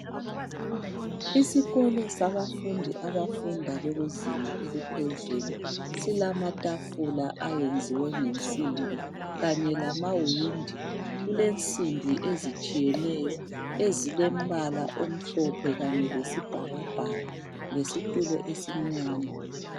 Isikolo sabafundi abafunda bekuzinga eliphezulu silamatafula ayenziwe ngensimbi kanye lamawindi. Kulensimbi ezitshiyeneyo ezilombala omhlophe kanye lesibhakabhaka lesitulo esimnyama.